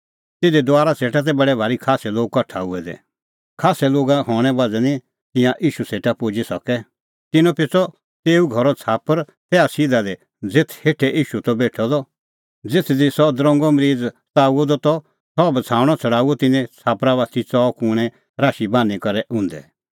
तिधी दुआरा सेटा तै बडै भारी खास्सै लोग कठा हुऐ दै खास्सै लोगा हणें बज़्हा निं तिंयां ईशू सेटा पुजी सकै तिन्नैं पेच़अ तेऊ घरो छ़ाप्पर तैहा सिधा ज़ेथ हेठै ईशू त बेठअ द ज़ेथ दी सह दरंगो मरीज़ सताऊअ द त सह बछ़ाऊणअ छ़ड़ाऊअ तिन्नैं छ़ाप्परा बाती च़ऊ कूणैं राशी बान्हीं करै उंधै